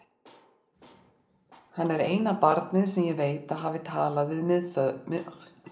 Hann er eina barnið sem ég veit að hafi talað við miðstöðvarofna.